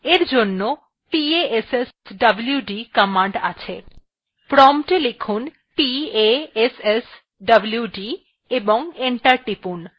এই জন্য passwd command আছে prompt we লিখুন